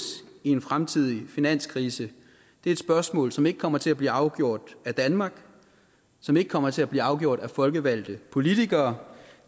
i en fremtidig finanskrise er et spørgsmål som ikke kommer til at blive afgjort af danmark som ikke kommer til at blive afgjort af folkevalgte politikere